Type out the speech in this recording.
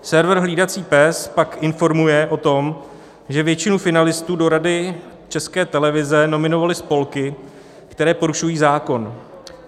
Server Hlídací pes pak informuje o tom, že většinu finalistů do Rady České televize nominovaly spolky, které porušují zákon.